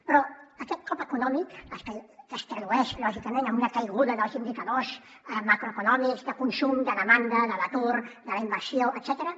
però aquest cop econòmic que es tradueix lògicament en una caiguda dels indicadors macroeconòmics de consum de demanda de l’atur de la inversió etcètera